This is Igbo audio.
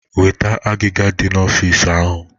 Weta agiga dị n'ọfịs ahụ!